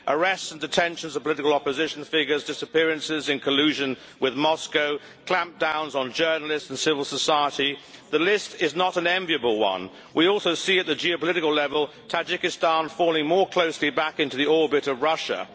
Arrests and detentions of political opposition figures, disappearances in collusion with Moscow, clampdowns on journalists and civil society the list is not an enviable one. We also see, at the geopolitical level, Tajikistan falling more closely back into the orbit of Russia.